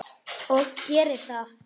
Og geri það.